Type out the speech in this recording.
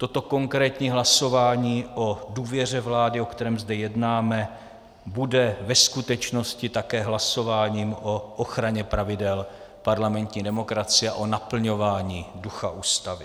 Toto konkrétní hlasování o důvěře vládě, o kterém zde jednáme, bude ve skutečnosti také hlasováním o ochraně pravidel parlamentní demokracie a o naplňování ducha Ústavy.